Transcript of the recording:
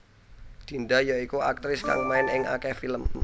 Dinda ya iku aktris kang main ing akèh film